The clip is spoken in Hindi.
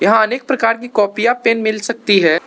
यहां अनेक प्रकार की कॉपियां पेन मिल सकती हैं।